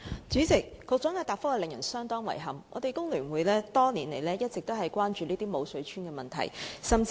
主席，局長的答覆令人相當遺憾，香港工會聯合會多年來一直關注這些"無水村"的問題。